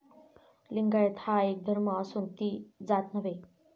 लिंगायत हा एक धर्म असून ती जात नव्हे.